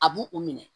A b'u u minɛ